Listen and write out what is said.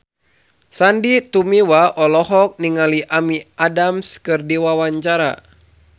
Sandy Tumiwa olohok ningali Amy Adams keur diwawancara